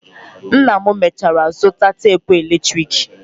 Nna m mechara zụta tapụ eletrik.